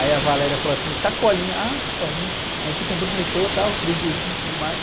Aí a falou assim, o Sacolinha. Ah, Sacolinha? A gente se cumprimentou, tal, os três beijinhos e tudo mais.